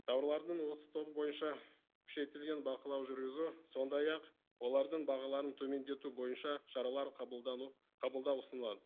тауарлардың осы тобы бойынша күшейтілген бақылау жүргізу сондай ақ олардың бағаларын төмендету бойынша шаралар қабылдану қабылдау ұсынылады